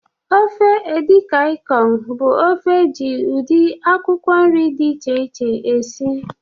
Ofe Edi kan bụ ofe eji ụdị akwụkwọ nri dị iche iche esi.